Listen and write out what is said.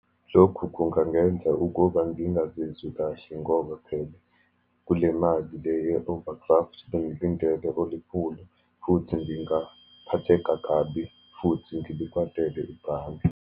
Lokhu kungangenza ukuba ngingazizwi kahle ngoba phela, kule mali le yo-overdraft, bengilindele olikhulu, futhi ngingaphatheka kabi, futhi ngilikwatele ibhange.